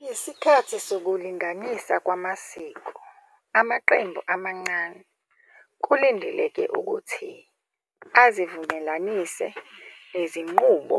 Ngesikhathi sokulinganisa kwamasiko, amaqembu amancane kulindeleke ukuthi azivumelanise nezinqubo